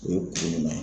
O ye kun jumɛn na